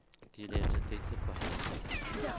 De læste digte for hinanden.